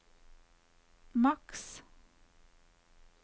maks